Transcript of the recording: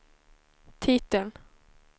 titeln